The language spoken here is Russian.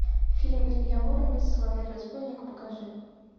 фильм илья муромец соловей разбойник покажи